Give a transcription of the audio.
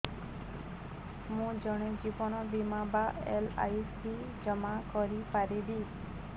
ମୁ କଣ ଜୀବନ ବୀମା ବା ଏଲ୍.ଆଇ.ସି ଜମା କରି ପାରିବି